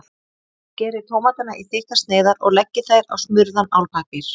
Skerið tómatana í þykkar sneiðar og leggið þær á smurðan álpappír.